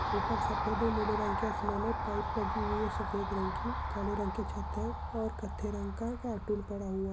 ऊपर सफेद और नीले रंग के आसमान है। पाइप लगी हुई है सफेद रंग की। काले रंग की छत है और कथे रंग के कार्टून पड़ा हुआ--